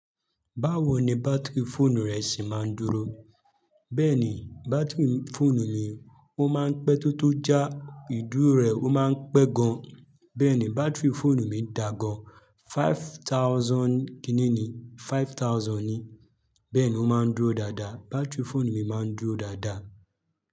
Báwo ni bátìrì fóònù rẹ sì máa ń dúró? Bẹ́ẹ̀ni, bátìrì fóònù mi ó máa ń pẹ́ tótó jà, ìdúró rẹ̀ ó máa ń pẹ́ gan. Bẹ́ẹ̀ni, bátìrì fóònù mi dà gan, five thousand kíni ni, five thousand ni. Bẹ́ẹ̀ ni ó máa ń dúró dáadáa, bátìrì fóònù mi máa ń dúró dáadáa.